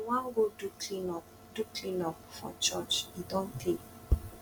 we wan go do clean up do clean up for church e don tey